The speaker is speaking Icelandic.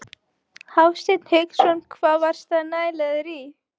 Hafsteinn Hauksson: Hvað varstu að næla þér í?